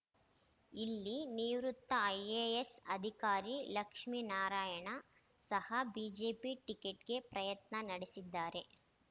ಇಲ್ಲಿ ನಿವೃತ್ತ ಐಎಎಸ್ ಅಧಿಕಾರಿ ಲಕ್ಷ್ಮಿನಾರಾಯಣ ಸಹ ಬಿಜೆಪಿ ಟಿಕೆಟ್‌ಗೆ ಪ್ರಯತ್ನ ನಡೆಸಿದ್ದಾರೆ